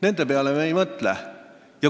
Nende peale me ei mõtle.